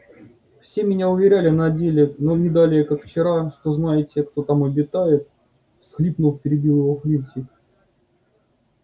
все меня уверяли на деле но не далее как вчера что знаете кто там обитает всхлипнув перебил его флитвик